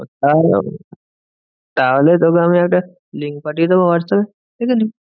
তাহলে তোকে আমি একটা link পাঠিয়ে দেব হোয়াটস্যাপে দেখে নিবি।